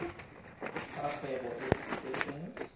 fa kgwebo e e kopetsweng